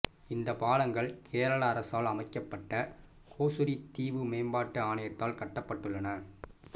இந்த பாலங்கள் கேரள அரசால் அமைக்கப்பட்ட கோசுரி தீவு மேம்பாட்டு ஆணையத்தால் கட்டப்பட்டுள்ளன